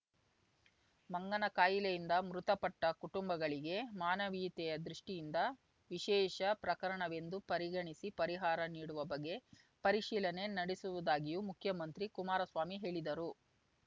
ಮಂಗನ ಖಾಯಿಲೆಯಿಂದ ಮೃತಪಟ್ಟ ಕುಟುಂಬಗಳಿಗೆ ಮಾನವೀಯತೆಯ ದೃಷ್ಠಿಯಿಂದ ವಿಶೇಷ ಪ್ರಕರಣವೆಂದು ಪರಿಗಣಿಸಿ ಪರಿಹಾರ ನೀಡುವ ಬಗ್ಗೆ ಪರಿಶೀಲನೆ ನಡೆಸುವುದಾಗಿಯೂ ಮುಖ್ಯಮಂತ್ರಿ ಕುಮಾರಸ್ವಾಮಿ ಹೇಳಿದರು